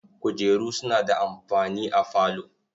Kujeru suna da amfani a falo.